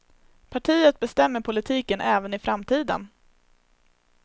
Partiet bestämmer politiken även i framtiden.